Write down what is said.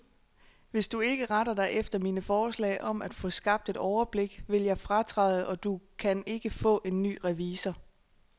Hvis du ikke retter dig efter mine forslag om at få skabt et overblik, vil jeg fratræde, og du kan ikke få en ny revisor.